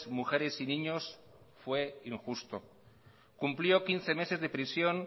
mujeres y niños fue injusto cumplió quince meses de prisión